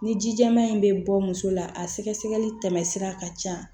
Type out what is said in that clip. Ni ji jɛman in bɛ bɔ muso la a sɛgɛsɛgɛli tɛmɛ sira ka ca